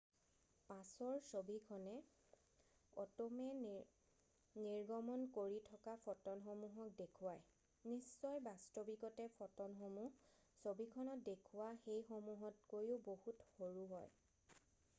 পাছৰ ছবিখনে অট'মে নিৰ্গমণ কৰি থকা ফ'টনসমূহক দেখুৱাই নিশ্চয় বাস্তৱিকতে ফ'টনসমূহ ছবিখনত দেখুওৱা সেইসমূহতকৈও বহুত সৰু হয়৷